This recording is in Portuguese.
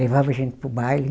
Levava a gente para o baile.